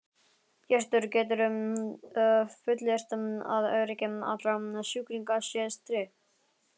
Hjörtur: Geturðu fullyrt að öryggi allra sjúklinga sé tryggt?